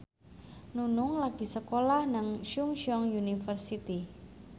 Nunung lagi sekolah nang Chungceong University